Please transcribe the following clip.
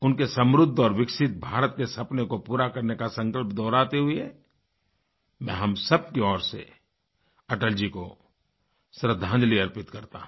उनके समृद्ध और विकसित भारत के सपने को पूरा करने का संकल्प दोहराते हुए मैं हम सबकी ओर से अटल जी को श्रद्धांजलि अर्पित करता हूँ